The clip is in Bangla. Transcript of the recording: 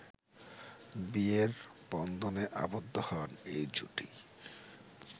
বিয়ের বন্ধনে আবদ্ধ হন এই জুটি